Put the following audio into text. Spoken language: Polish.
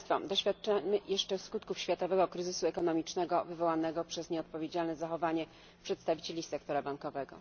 Doświadczamy jeszcze skutków światowego kryzysu ekonomicznego wywołanego przez nieodpowiedzialne zachowanie przedstawicieli sektora bankowego.